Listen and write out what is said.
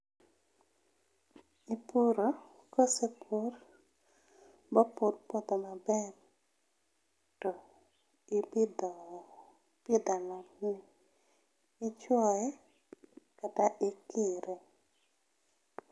Ipuro, kosepur ma opo puodho maber to ipidho, ipidho alot ni, ichuoye kata ikire